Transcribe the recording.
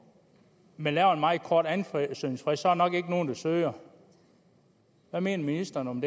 men laver en meget kort ansøgningsfrist så er der nok ikke nogen der søger hvad mener ministeren om